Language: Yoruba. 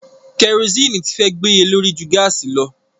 Kẹrosíìnì ti fẹ́ gbéye lórí ju gáàsì lọ.